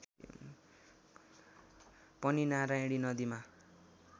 पनि नारायणी नदीमा